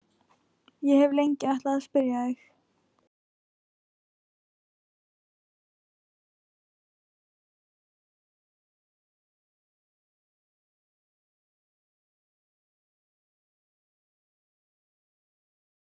Irmý, manstu hvað verslunin hét sem við fórum í á miðvikudaginn?